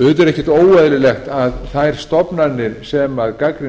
auðvitað er ekkert óeðlilegt að þær stofnanir sem gagnrýni er